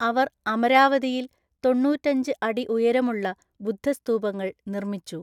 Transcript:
അവർ അമരാവതിയിൽ തൊണ്ണൂറ്റഞ്ച് അടി ഉയരമുള്ള ബുദ്ധ സ്തൂപങ്ങൾ നിർമ്മിച്ചു.